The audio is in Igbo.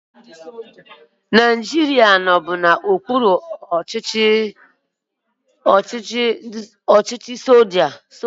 Naijiria nọbu n'okpuru ọchịchị ndị soja